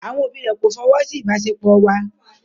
Àwọn òbí rẹ̀ kò fọwọ́ sí ìbáṣepọ̀ wa.